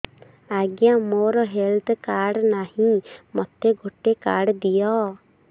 ଆଜ୍ଞା ମୋର health card ନାହିଁ ମୋତେ ଗୋଟେ କାର୍ଡ ଦିଅ